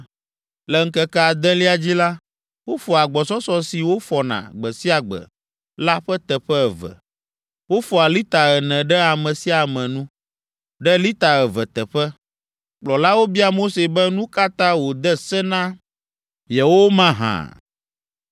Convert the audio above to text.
Le ŋkeke adelia dzi la, wofɔa agbɔsɔsɔ si wofɔna gbe sia gbe la ƒe teƒe eve. Wofɔa lita ene ɖe ame sia ame nu, ɖe lita eve teƒe. Kplɔlawo bia Mose be nu ka ta wòde se ma na yewo mahã.